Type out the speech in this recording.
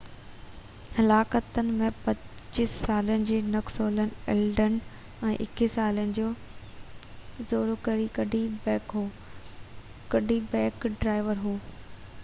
حلاڪتن ۾ 25 سالن جو Nicholas Elden ۽ 21 سالن جو زوڪري ڪڊي بيڪ هو ڪڊي بيڪ ڊرائيور هو